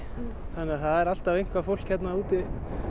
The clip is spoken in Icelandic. þannig að það er alltaf eitthvað fólk hérna úti